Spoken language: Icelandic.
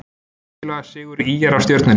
Mikilvægur sigur ÍR á Stjörnunni